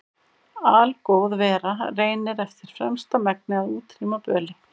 Algóð vera reynir eftir fremsta megni að útrýma böli.